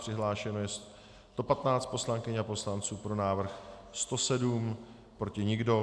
Přihlášeno je 115 poslankyň a poslanců, pro návrh 107, proti nikdo.